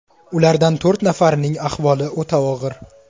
Ulardan to‘rt nafarining ahvoli o‘ta og‘ir.